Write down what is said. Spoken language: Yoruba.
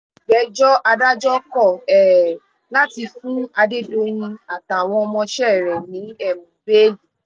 ìgbẹ́jọ́ adájọ́ kọ̀ um láti fún adédoyìn àtàwọn ọmọọṣẹ́ rẹ̀ ní um